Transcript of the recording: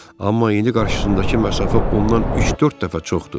Amma indi qarşısındakı məsafə ondan üç-dörd dəfə çoxdur.